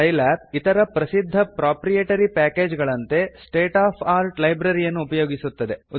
Scilab ಇತರ ಪ್ರಸಿದ್ಧ proprietary package ಗಳಂತೆ state of ಆರ್ಟ್ ಲೈಬ್ರರಿಯನ್ನು ಉಪಯೋಗಿಸುತ್ತದೆ